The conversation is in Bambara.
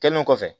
Kɛlen kɔfɛ